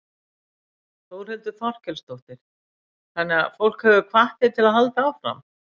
Þórhildur Þorkelsdóttir: Þannig að fólk hefur hvatt þig til að halda áfram?